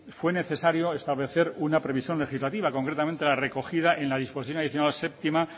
fue necesario establecer una previsión legislativa concretamente la recogida en la disposición adicional séptima